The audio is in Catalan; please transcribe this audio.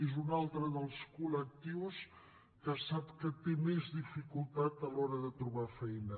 és un altre dels col·lectius que sap que té més dificultat a l’hora de trobar feina